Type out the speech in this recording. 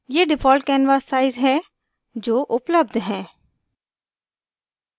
ये default canvas sizes हैं जो उपलब्ध हैं